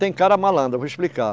Tem cara malandro, eu vou explicar.